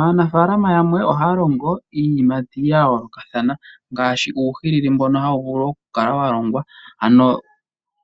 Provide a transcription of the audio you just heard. Aanafaalama yamwe ohaya longo iiyimati yayoolokathana ngaashi uuhilili mbono hawu vulu okukala walongwa .